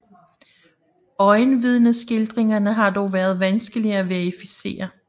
Øjenvidneskildringerne har dog været vanskelige at verificere